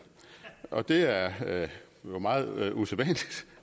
og det er jo meget usædvanligt